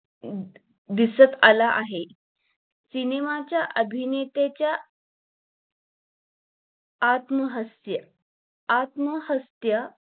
the दिसत आला आहे CINEMA च्या अभिनेत्याच्या आत्म हास्य आत्महत्या